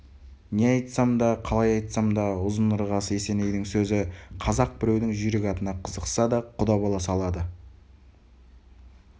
не айтсам да қалай айтсам да ұзын-ырғасы есенейдің сөзі қазақ біреудің жүйрік атына қызықса да құда бола салады